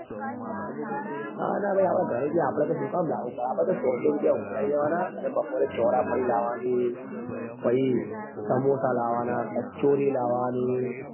ના ના ભાઈ આપડે તો ઘરે થી આપડે તો શું કામ લાવવું પડે નાં આપડે તો સો સો રૂપિયા ઉઘરાવી લેવા નાં અને બપોરે ચોળાફળી લાવવા ની પછી સમોસા લાવવા નાં કચોરી લાવવા ની